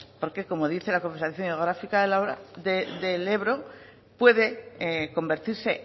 porque dice la confederación hidrográfica del ebro puede convertirse